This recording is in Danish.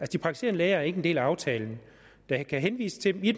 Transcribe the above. de praktiserende læger er ikke en del af aftalen der kan henvises til dem i